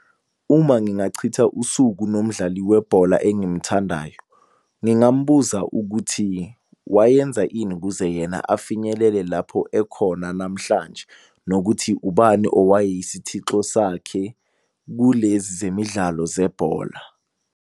Uma ngingachitha usuku nomdlali webhola engimthandayo, ngingambuza ukuthi wayenza ini ukuze yena afinyelele lapho ekhona namhlanje, nokuthi ubani owayeyisithixo sakhe kulezi zemidlalo zebhola.